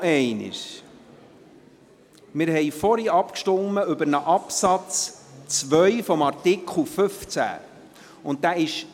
Noch einmal: Vorhinr haben wir über den Absatz 2 des Artikels 15 abgestimmt.